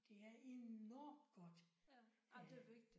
Det er enormt godt at have